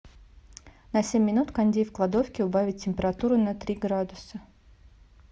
на семь минут кондей в кладовке убавить температуру на три градуса